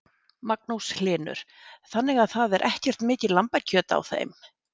Magnús Hlynur: Þannig að það er ekkert mikið lambakjöt á þeim?